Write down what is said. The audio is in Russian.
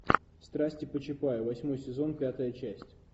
страсти по чапаю восьмой сезон пятая часть